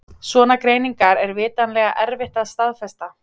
Svona greiningar er vitanlega erfitt að staðfesta.